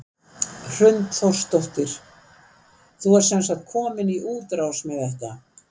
Hrund Þórsdóttir: Þú ert sem sagt komin í útrás með þetta?